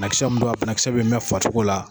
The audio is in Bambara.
banakisɛ bi mɛn farisogo la